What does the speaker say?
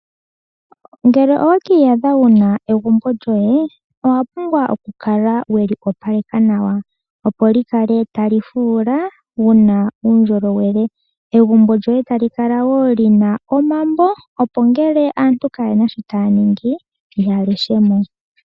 Ngele owe ki iyadha wuna egumbo lyoye owa pumbwa okukala weli opaleka nawa. Opo likale tali fula muna uundjolowele. Egumbo lyoye tali kala wo lina omambo opo ngele aantu kayena sho taya ningi ya leshe mo.